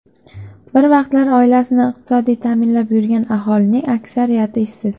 Bir vaqtlar oilasini iqtisodiy ta’minlab yurgan aholining aksariyati ishsiz.